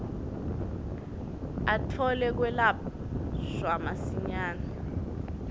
atfole kwelashwa masinyane